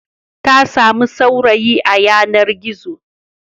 Ta sami saurayi a yanar-gizo.